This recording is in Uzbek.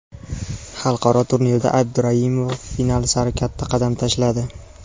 Xalqaro turnirda Abduraimova final sari katta qadam tashladi.